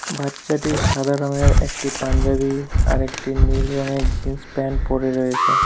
বাচ্চাটি সাদা রংয়ের একটি পাঞ্জাবী আর একটি নীল রঙের জিন্স প্যান্ট পড়ে রয়েছে।